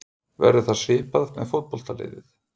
Verður það svipað með fótboltaliðið?